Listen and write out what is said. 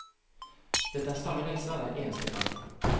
Dette er samme leksa hver eneste gang.